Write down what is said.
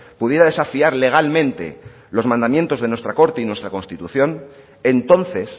pudiera desafiar legalmente los mandamientos de nuestra corte y nuestra constitución entonces